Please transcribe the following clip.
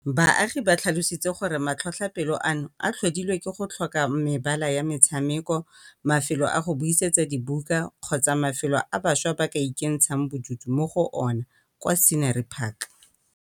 Baagi ba tlhalositse gore matlhotlhapelo ano a tlhodilwe ke go tlhoka mabala a metshameko, mafelo a go buisetsa dibuka kgotsa mafelo a bašwa ba ka ikentshang bodutu mo go ona kwa Scenery Park.